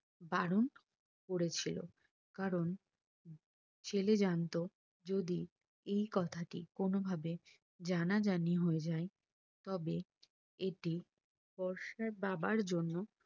Baron করে ছিল কারণ ছেলে জানতো যদি এই কথাটি কোনো ভাবে জানাজানি হয়ে যাই তবে এটি বর্ষার বাবার জন্য